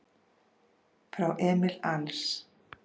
Frá Emil Als